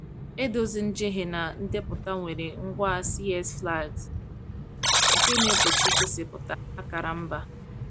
Edozi njehie na ndepụta nwere ngwa CSS flags nke na-egbochi igosipụta akara mba.